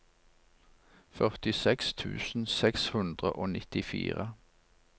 førtiseks tusen seks hundre og nittifire